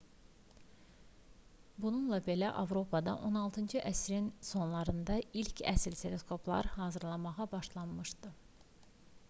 bununla belə avropada 16-cı əsrin sonlarında ilk əsl teleskoplar hazırlanmağa başlamışdı